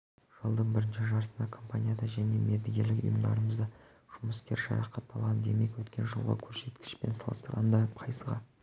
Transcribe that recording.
жылдың бірінші жартысында компанияда және мердігерлік ұйымдарымызда жұмыскер жарақат алған демек өткен жылғы көрсеткішпен салыстырғанда пайызға